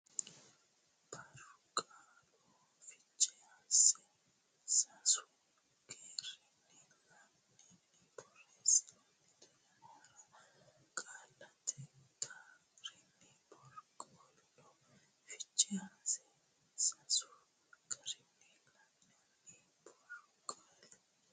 borqaallu fiche hasse Sasu garinni la nanni borreessittanno yannara qaallate ga reno borqaallu fiche hasse Sasu garinni la nanni borqaallu.